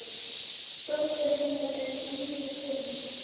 Dóttir hennar er Íris Huld.